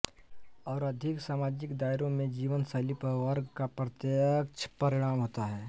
और अधिक सामाजिक दायरों में जीवन शैली पर वर्ग का प्रत्यक्ष परिणाम होता है